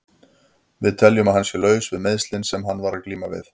Við teljum að hann sé laus við meiðslin sem hann var að glíma við.